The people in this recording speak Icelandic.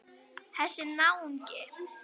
Þessi náungi.